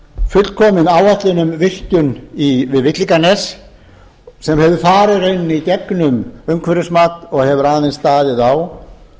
fullkomin áætlun um virkjun við villinganes sem hefur farið í gegnum umhverfismat og hefur aðeins staðið á